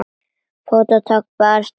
Fótatak barst frá berum iljum.